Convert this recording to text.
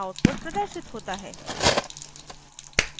output प्रदर्शित होता है